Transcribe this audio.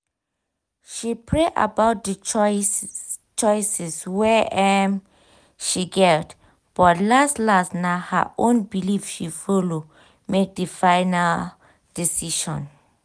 she pray about d choices wey um she get but las-las na her um own belief she follow make di final um decision.